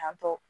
Yan tɔ